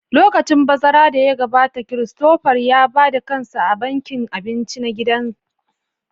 Lokacin bazara da ya gabata, Christopher ya ba da kansa a bankin abinci na gida